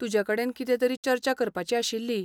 तुजे कडेन कितें तरी चर्चा करपाची आशिल्ली.